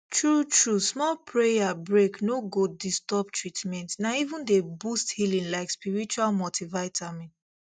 truetrue small prayer break no go disturb treatment na even dey boost healing like spiritual multivitamin